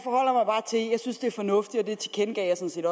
synes det er fornuftigt